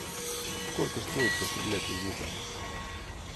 сколько стоит пострелять из лука